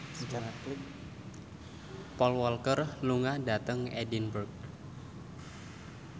Paul Walker lunga dhateng Edinburgh